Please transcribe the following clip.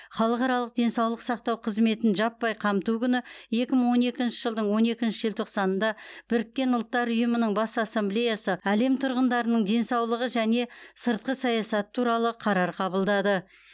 халықаралық денсаулық сақтау қызметін жаппай қамту күні екі мың он екінші жылдың он екінші желтоқсанында біріккен ұлттар ұйымының бас ассамблеясы әлем тұрғындарының денсаулығы және сыртқы саясаты туралы қарар қабылдады